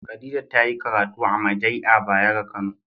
Khadijah ta yi karatu amajai'a Bayero kano